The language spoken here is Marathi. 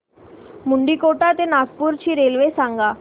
मुंडीकोटा ते नागपूर ची रेल्वे सांगा